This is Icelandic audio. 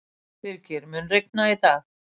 Birgir, mun rigna í dag?